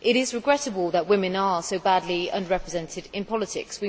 It is regrettable that women are so badly under represented in politics.